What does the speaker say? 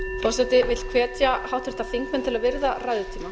forseti vill hvetja háttvirtir þingmenn til að virða ræðutíma